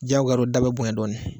Diyagoya da bɛ bonya dɔɔnin.